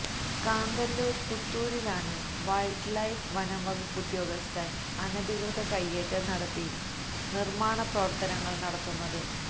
കാന്തല്ലൂര് പുത്തൂരിലാണ് wildlife വനംവകുപ്പുദ്യോഗസ്ഥന് അനധികൃത കയ്യേറ്റം നടത്തി നിര്മ്മാണ പ്രവര്ത്തനങ്ങള് നടത്തുന്നത്